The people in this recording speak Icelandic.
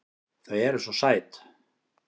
Þau eru SVO SÆT!